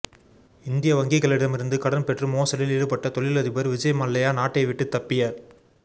இந்திய வங்கிகளிடமிருந்து கடன் பெற்று மோசடியில் ஈடுபட்ட தொழிலதிபர் விஜய் மல்லையா நாட்டை விட்டு தப்பிய